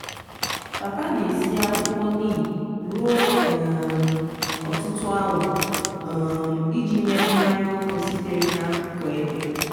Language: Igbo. papa na- esi akwukwo nim ruo um ọtụtụ awa um iji mee mmanya ọkụ sitere n’akụkụ eke.